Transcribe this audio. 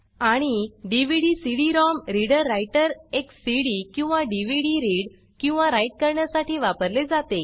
आणि DVD cd ROM reader writer एक CD किंवा डीव्हीडी रीड किंवा राइट करण्यासाठी वापरले जाते